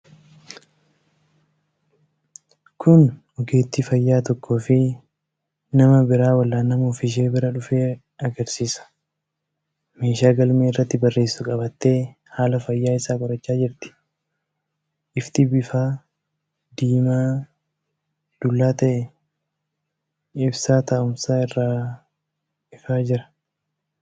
Kun ogeettiin fayyaa tokkoo fi nama biraa wal'aanamuuf ishee bira dhufe agarsiisa. meeshaa galmee irratti barreessitu qabattee haala fayyaa isaa qorachaa jirti. Ifti bifa diimaa-dullaa ta’e ibsaa taa’umsaa irraa ifaa jira.